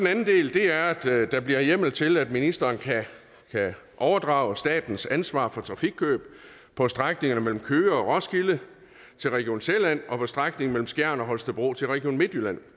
anden del er at der bliver hjemmel til at ministeren kan overdrage statens ansvar for trafikkøb på strækningen mellem køge og roskilde til region sjælland og på strækningen mellem skjern og holstebro til region midtjylland og